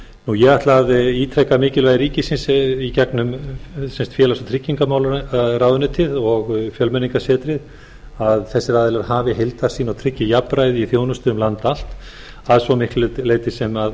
ég ætla að ítreka mikilvægi ríkisins í gegnum félags og tryggingamálaráðuneytið og fjölmenningarsetrið að þessir aðilar hafi heildarsýn og tryggi jafnræði í þjónusta um land allt að svo miklu leyti sem